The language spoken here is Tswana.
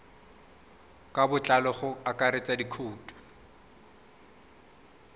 ka botlalo go akaretsa dikhoutu